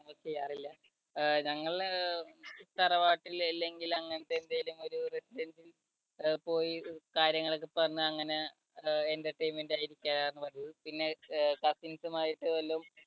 ചെയ്യാറില്ല ഞങ്ങള് അഹ് തറവാട്ടിൽ അല്ലെങ്കിൽ അങ്ങനെത്തെ എന്തേലും ഒരു അഹ് പോയി കാര്യങ്ങളൊക്കെ പറഞ്ഞു അങ്ങനെ അഹ് entertainment ആയിരിക്കാറാണ് പതിവ്. പിന്നെ cousins ആയിട്ട് വല്ലോം